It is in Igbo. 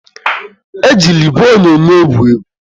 Ejila igwe onyonyo egwu egwu!